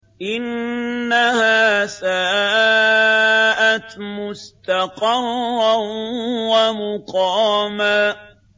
إِنَّهَا سَاءَتْ مُسْتَقَرًّا وَمُقَامًا